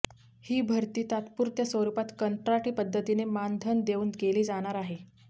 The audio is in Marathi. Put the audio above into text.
ही भरती तात्पुरत्या स्वरुपात कंत्राटी पद्धतीने मानधन देऊन केली जाणार आहे